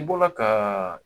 I bɔra ka